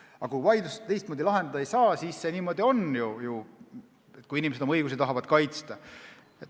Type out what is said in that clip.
Aga kui vaidlust teistmoodi lahendada ei saa, siis see niimoodi on, kui inimesed tahavad oma õigusi kaitsta.